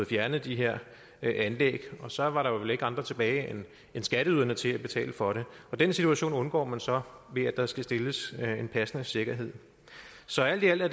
fjernet de her anlæg og så var der vel ikke andre tilbage end skatteyderne til at betale for det den situation undgår man så ved at der skal stilles en passende sikkerhed så alt i alt er